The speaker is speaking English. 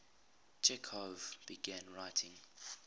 chekhov began writing